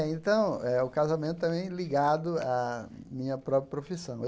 Então eh, o casamento também ligado à minha própria profissão.